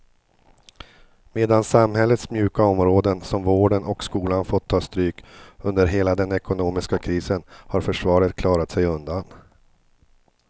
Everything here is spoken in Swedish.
Medan samhällets mjuka områden som vården och skolan fått ta stryk under hela den ekonomiska krisen har försvaret klarat sig undan.